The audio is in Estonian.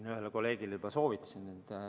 Ma ühele kolleegile juba soovitasin.